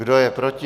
Kdo je proti?